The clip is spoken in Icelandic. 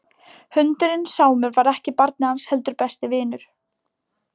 Hundurinn Sámur var ekki barnið hans heldur besti vinurinn.